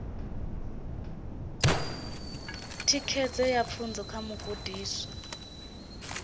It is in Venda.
thikedzo ya pfunzo kha mugudiswa